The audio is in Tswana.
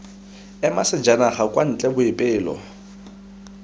ema sejanaga kwa ntle boipelo